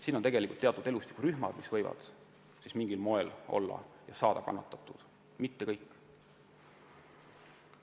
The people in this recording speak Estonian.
On teatud elustikurühmad, mis võivad mingil moel kannatada saada, aga mitte kõik.